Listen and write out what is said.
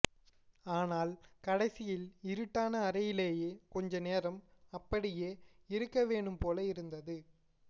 ஆனால் கடைசியில் இருட்டான அறையிலேயே கொஞ்ச நேரம் அபப்டியே இருக்கவேணும்போல இருந்தது